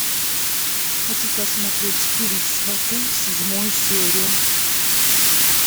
хочу посмотреть фильм сваты седьмую серию